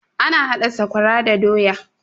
Ana haɗa sakwara da doya